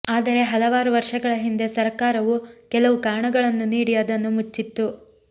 ಆದರೆ ಹಲವಾರು ವರ್ಷಗಳ ಹಿಂದೆ ಸರಕಾರವು ಕೆಲವು ಕಾರಣಗಳನ್ನು ನೀಡಿ ಅದನ್ನು ಮುಚ್ಚಿತ್ತು